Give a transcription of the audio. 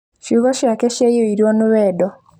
Ciugo ciake ciaiyũirwo nĩ wendo